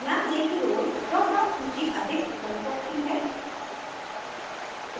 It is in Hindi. ध्यान दें कि role drop down सूची अधिक विकल्प रखती है